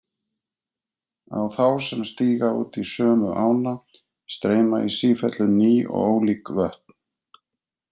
Á þá sem stíga út í sömu ána streyma í sífellu ný og ólík vötn.